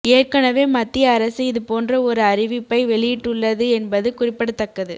ஏற்கனவே மத்திய அரசு இது போன்ற ஒரு அறிவிப்பை வெளியிட்டுள்ளது என்பது குறிப்பிடத்தக்கது